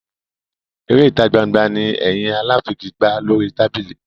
Eré ìtagbangba ni ẹyin aláfigigbá lórí tábìlì.